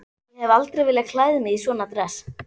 Ég hef aldrei viljað klæða mig í svona dress.